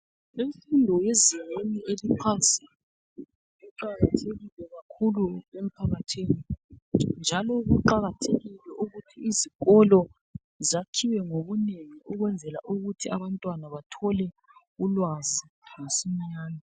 Imfundo yezinga eliphansi iqakathekile kakhulu emphakathini njalo kuqakathekile ukuthi izikolo zakhiwe ngobunengi ukwenzela ukuthi abantwana bathole ulwazi ngesincane